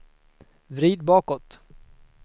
vrid bakåt